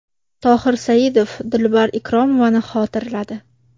Tohir Saidov Dilbar Ikromovani xotirladi.